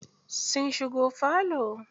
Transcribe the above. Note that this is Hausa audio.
Sun shigo falo.